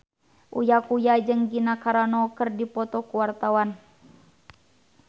Uya Kuya jeung Gina Carano keur dipoto ku wartawan